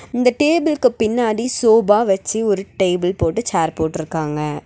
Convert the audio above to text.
இந்த டேபிள்க்கு பின்னாடி சோபா வச்சி ஒரு டேபிள் போட்டு சேர் போட்டிருக்காங்க.